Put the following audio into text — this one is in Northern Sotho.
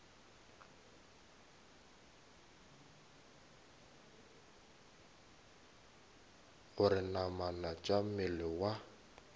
gore namana tša mmele wa